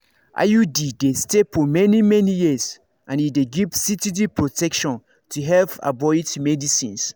iud dey stay for many-many years and e dey give steady protection to help avoid everyday medicines